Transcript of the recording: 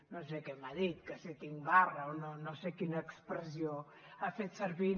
no sé què m’ha dit que si tinc barra o no sé quina expressió ha fet servir